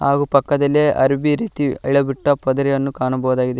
ಹಾಗು ಪಕ್ಕದಲ್ಲಿ ಅರಬಿ ರೀತಿ ಅಳೆ ಬಿಟ್ಟ ಪದರಿಯನ್ನು ಕಾಣಬಹುದಾಗಿದೆ.